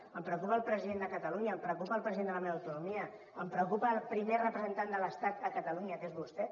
em preocupa el president de catalunya em preocupa el president de la meva autonomia em preocupa el primer representant de l’estat a catalunya que és vostè